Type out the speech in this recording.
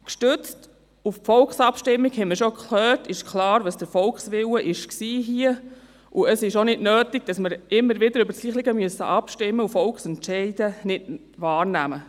Gestützt auf die Volksabstimmung – das haben wir schon gehört – ist klar, was hier der Volkswille war, und es ist auch nicht nötig, dass wir immer wieder über das Gleiche abstimmen müssen und Volksentscheide nicht wahrnehmen.